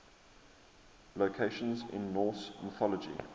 locations in norse mythology